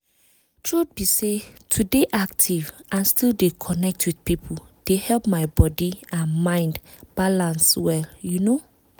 truth be say to dey active and still dey connect with people dey help my body and mind balance well you know